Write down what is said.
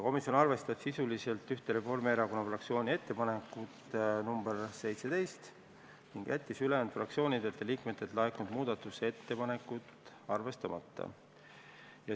Komisjon arvestas sisuliselt ühte Reformierakonna fraktsiooni ettepanekut, nr 17, ning jättis ülejäänud fraktsioonidelt ja liikmetelt laekunud muudatusettepanekud arvestamata.